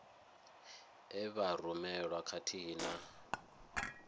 e vha rumelwa khathihi na